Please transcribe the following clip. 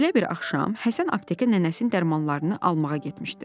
Belə bir axşam Həsən aptekə nənəsinin dərmanlarını almağa getmişdi.